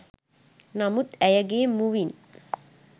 නමුත් ඇයගේ මුවින්